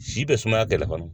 Si bɛ sumaya kɛlɛ kɔni